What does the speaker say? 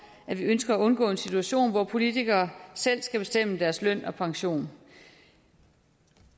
at vi ønsker at undgå en situation hvor politikerne selv skal bestemme deres løn og pension